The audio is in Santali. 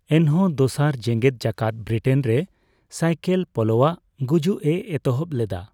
ᱮᱱᱦᱚᱸ, ᱫᱚᱥᱟᱨ ᱡᱮᱜᱮᱫ ᱡᱟᱠᱟᱛ ᱵᱨᱤᱴᱮᱱ ᱨᱮ ᱥᱟᱭᱠᱮᱹᱞ ᱯᱳᱞᱳᱣᱟᱜ ᱜᱩᱡᱩᱜᱼᱮ ᱮᱛᱚᱦᱚᱵ ᱞᱮᱫᱟ ᱾